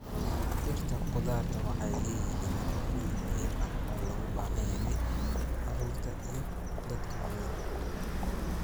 Dhirta khudaarta waxay leeyihiin nafaqooyin muhiim ah oo loogu baahan yahay carruurta iyo dadka waaweyn.